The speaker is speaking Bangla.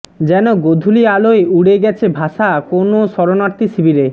যেন গোধূলি আলোয় উড়ে গেছে ভাষা কোনো শরণার্থী শিবিরে